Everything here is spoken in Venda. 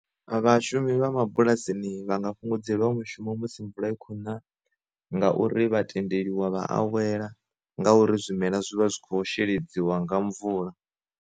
Vha shumi vha mabulasini vha nga fhungudzelwa mushumo musi mvula i khona ngauri vha tendeliwa vha awela nga uri zwimela zwi vha zwi kho sheledziwa nga mvula.